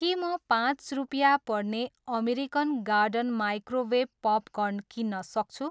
के म पाँच रुपियाँ पर्ने अमेरिकन गार्डन माइक्रोवेभ पपकर्न किन्न सक्छु?